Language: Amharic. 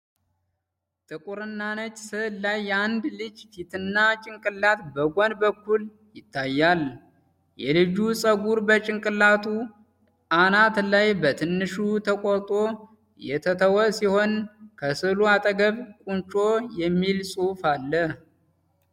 ጥቁርና ነጭ ስዕል ላይ የአንድ ልጅ ፊትና ጭንቅላት በጎን በኩል ይታያል። የልጁ ፀጉር በጭንቅላቱ አናት ላይ በትንሹ ተቆርጦ የተተወ ሲሆን ከስዕሉ አጠገብ "ቁንጮ" የሚል ጽሑፍ አለ።